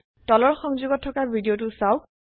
তলৰ সংযোগত থকা ভিদিয়তো চাওক